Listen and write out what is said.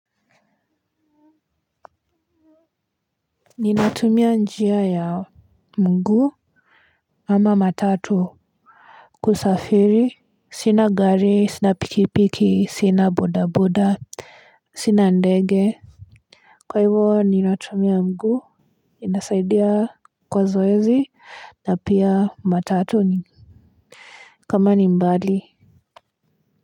Ninatumia njia ya mgu ama matatu. Kusafiri sina gari sina pikipiki sina bodaboda. Sina ndege. Kwa hivo ninatumia mgu inasaidia kwa zoezi na pia matatu. Kama ni mbali.